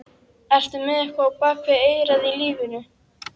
Ertu með eitthvað á bak við eyrað í lífinu?